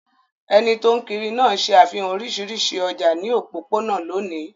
Ẹni tó ń kiri náà ṣe àfihàn oríṣiríṣi ọjà ní òpópónà lónìí.